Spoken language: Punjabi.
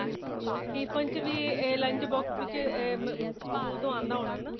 tiffin ਚ ਇਹ lunch box ਵਿੱਚ ਇਹ ਸਕੂਲ ਤੋਂ ਆਂਦਾ ਹੋਣਾ ਨਾ